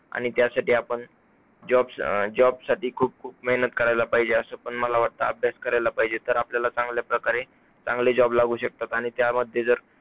आणि त्यासाठी आपण job अं job साठी खूप खूप मेहनत करायला पाहिजे. असा पण मला वाटतं, अभ्यास करायला पाहिजे. तर आपल्याला चांगल्या प्रकारे चांगले job लागू शकतात आणि त्यामध्ये जर